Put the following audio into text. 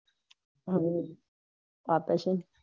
હમ આપે છે ને